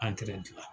An gilan